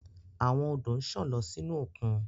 Awon odo nsan lọ sinu okun